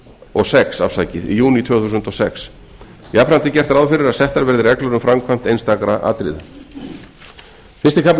og sex jafnframt er gert ráð fyrir að settar verði reglur um framkvæmd einstakra atriða fyrsti kafli